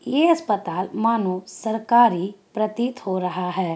ये अस्पताल मानो सरकारी प्रतीत हो रहा है।